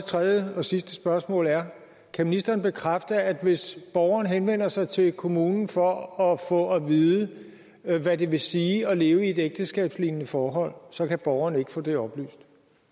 tredje og sidste spørgsmål er kan ministeren bekræfte at hvis borgeren henvender sig til kommunen for at få at vide hvad det vil sige at leve i et ægteskabslignende forhold så kan borgeren ikke få det oplyst